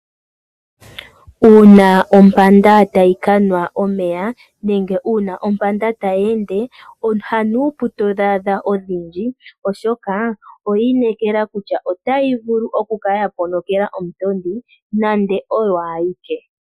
Uuna ompanda tayi kanwa omeya nenge uuna ompanda taye ende hanuupu todhi adha odhindji, oshoka oyi inekela kutya otayi vulu okuponokela omutondi nando oyo ayike.